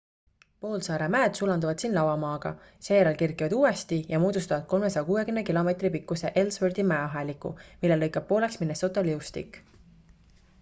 poolsaare mäed sulanduvad siin lavamaaga seejärel kerkivad uuesti ja moodustavad 360 km pikkuse ellsworthi mäeaheliku mille lõikab pooleks minnesota liustik